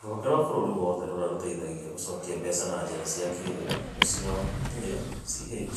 Rũhonge rwa bũrũri wothe rũrĩa rũteithagia gũcokia mbeca na njĩra cia kĩĩrĩu (A)CH